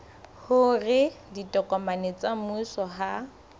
hore ditokomane tsa mmuso ha